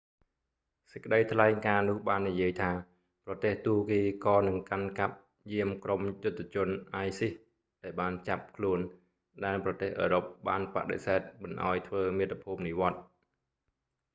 សេចក្តីថ្លែងការណ៍នោះបាននិយាយថា ប្រទេសទួរគីក៏នឹងកាន់កាប់យាមក្រុមយុទ្ធជន isis ដែលបានចាប់ខ្លួនដែលប្រទេសអឺរ៉ុបបានបដិសេធមិនឱ្យធ្វើមាតុភូមិនិវត្តន៍